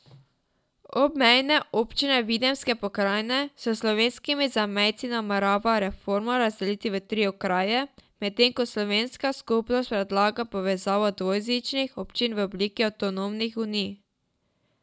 Obmejne občine Videmske pokrajine s slovenskimi zamejci namerava reforma razdeliti v tri okraje, medtem ko Slovenska skupnost predlaga povezavo dvojezičnih občin v obliki avtonomnih unij.